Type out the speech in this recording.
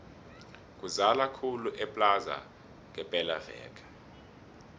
kuzala khulu eplaza ngepela veke